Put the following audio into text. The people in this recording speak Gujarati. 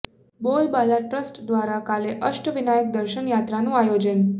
બોલબાલા ટ્રસ્ટ દ્વારા કાલે અષ્ટ વિનાયક દર્શન યાત્રાનું આયોજન